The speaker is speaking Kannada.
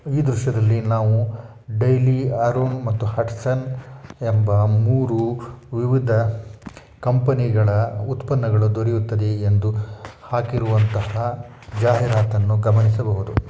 ಈ ದೃಶ್ಯದಲ್ಲಿ ನಾವು ಡೈಲಿ ಆರಾಮ್ ಮತ್ತು ಹಟ್ಸನ್ ಎಂಬ ಮೂರು ವಿವಿಧ ಕಂಪನಿ ಗಳ ಉತ್ಪನ್ನಗಳು ದೊರೆಯುತ್ತದೆ ಎಂದು ಹಾಕಿರುವಂತಹ ಜಾಹೀರಾತನ್ನು ಗಮನಿಸಬಹುದು.